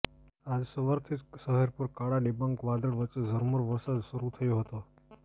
આજ સવારથી જ શહેર પર કાળાડિબાંગ વાદળ વચ્ચે ઝરમર વરસાદ શરુ થયો હતો